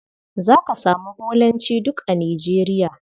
Za ka samu Bolancj duk a Nigeria.